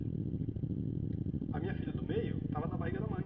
A minha filha do meio estava na barriga da mãe,